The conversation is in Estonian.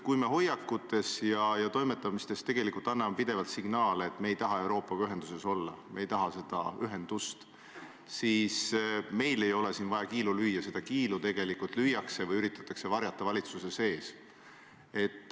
Kui me hoiakutes ja toimetamistes tegelikult anname pidevalt signaale, et me ei taha Euroopaga ühenduses olla, et me ei taha seda ühendust, siis meil ei ole vaja kiilu lüüa, see kiil tegelikult on valitsuses juba olemas, aga seda üritatakse varjata.